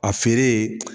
A feere